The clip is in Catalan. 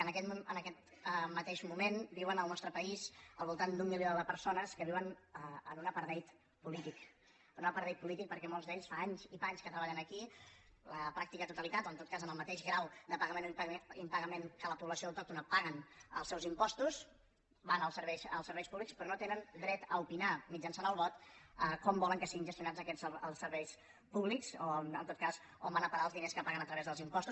en aquest mateix moment viuen en el nostre país al vol·tant d’un milió de persones que viuen en un apartheid polític en un apartheid polític perquè molts d’ells fa anys i panys que treballen aquí la pràctica totalitat o en tot cas amb el mateix grau de pagament o im·pagament que la població autòctona paguen els seus impostos van als serveis públics però no tenen dret a opinar mitjançant el vot com volen que siguin gestio·nats aquests serveis públics o en tot cas on van a pa·rar els diners que paguen a través dels impostos